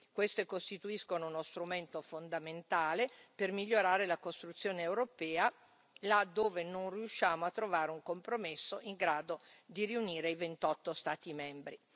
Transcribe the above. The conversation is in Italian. Queste costituiscono uno strumento fondamentale per migliorare la costruzione europea, là dove non riusciamo a trovare un compromesso in grado di riunire i 28 Stati membri.